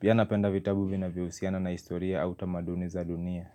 Pia napenda vitabu vya vyohusiana na historia au tamaduni za dunia.